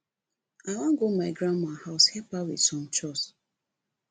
i wan go my grandma house help her with some chores